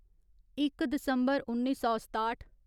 इक दिसम्बर उन्नी सौ सताठ